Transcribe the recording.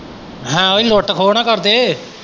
ਹਾਂ ਇਹ ਲੁੱਟ ਖੋਹ ਨਾ ਕਰਦੇ।